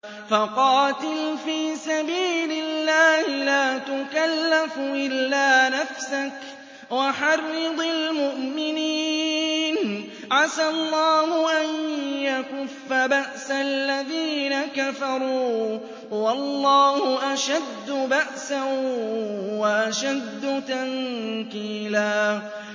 فَقَاتِلْ فِي سَبِيلِ اللَّهِ لَا تُكَلَّفُ إِلَّا نَفْسَكَ ۚ وَحَرِّضِ الْمُؤْمِنِينَ ۖ عَسَى اللَّهُ أَن يَكُفَّ بَأْسَ الَّذِينَ كَفَرُوا ۚ وَاللَّهُ أَشَدُّ بَأْسًا وَأَشَدُّ تَنكِيلًا